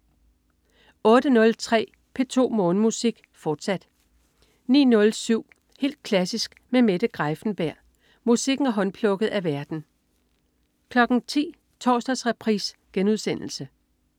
08.03 P2 Morgenmusik, fortsat 09.07 Helt klassisk med Mette Greiffenberg. Musikken er håndplukket af værten 10.00 Torsdagsreprise*